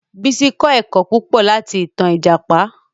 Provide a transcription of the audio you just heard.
Bísí kọ́ ẹ̀kọ́ púpọ̀ láti ìtan Ìjàpá